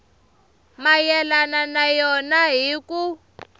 mayelana na yona hi ku